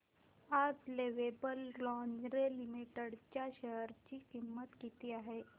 आज Lovable Lingerie Limited च्या share ची किंमत किती आहे